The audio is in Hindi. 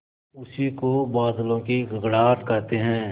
उसी को बादलों की गड़गड़ाहट कहते हैं